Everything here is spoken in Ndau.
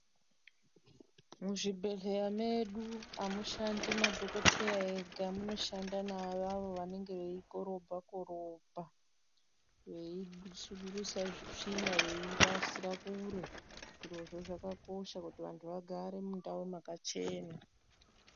Muzvibhedhleya medu amushandi madhokoteya ega munoshanda naavavo vanenge veikorobha korobha veisudurutsa tsvina veirasira kure, zviro zvoo zvakakosha kuti vantu vagare mundau yakachena.